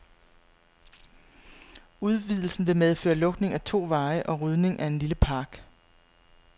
Udvidelsen vil medføre lukning af to veje og rydning af en lille park.